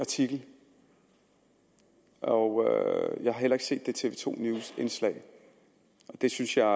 artikel og jeg har heller ikke set det tv to news indslag det synes jeg